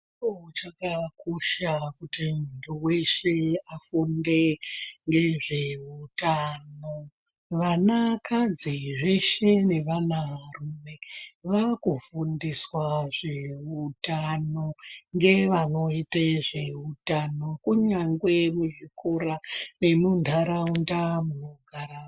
Ro chakakosha kuti muntu weshe afunde ngezveutano vana kadzizveshe nevana rume vakufundiswa zveutano ngevanoite zveutano kunyangwe muzvikora nemuntaraunda munogara.